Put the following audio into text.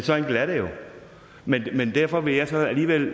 så enkelt er det jo men derfor vil jeg alligevel